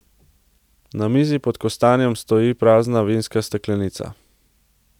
Na mizi pod kostanjem stoji prazna vinska steklenica.